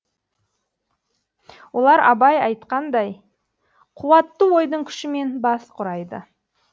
олар абай айтқандай қуатты ойдың күшімен бас құрайды